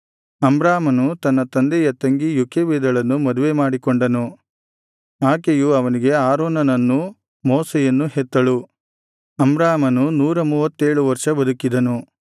ಅಮ್ರಾಮನು ತನ್ನ ತಂದೆಯ ತಂಗಿ ಯೋಕೆಬೆದಳನ್ನು ಮದುವೆಮಾಡಿಕೊಂಡನು ಆಕೆಯು ಅವನಿಗೆ ಆರೋನನನ್ನೂ ಮೋಶೆಯನ್ನೂ ಹೆತ್ತಳು ಅಮ್ರಾಮನು ನೂರಮೂವತ್ತೇಳು ವರ್ಷ ಬದುಕಿದನು